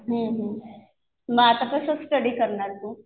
हम्म हम्म. मग आता कसं स्टडी करणार तू?